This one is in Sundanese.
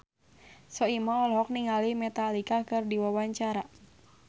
Soimah olohok ningali Metallica keur diwawancara